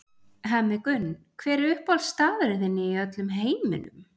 Hemmi Gunn Hver er uppáhaldsstaðurinn þinn í öllum heiminum?